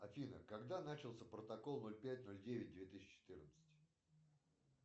афина когда начался протокол ноль пять ноль девять две тысячи четырнадцать